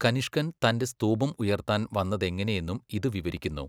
കനിഷ്കൻ തന്റെ സ്തൂപം ഉയർത്താൻ വന്നതെങ്ങനെയെന്നും ഇത് വിവരിക്കുന്നു.